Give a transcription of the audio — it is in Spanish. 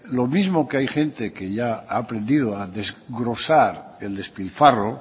lo mismo que hay gente que ya ha aprendido a desglosar el despilfarro